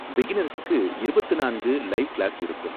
பிகினர்ஸுக்கு இருபத்து நான்கு live class இருக்கும்.